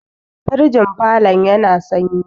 firgin falon yana sanyi